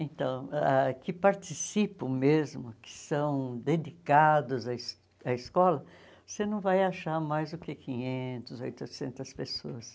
Então, ah que participam mesmo, que são dedicados à es à escola, você não vai achar mais do que quinhentos, oitocentas pessoas.